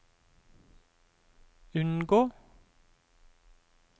unngå